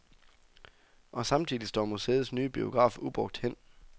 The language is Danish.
Og samtidig står museets nye biograf ubrugt hen.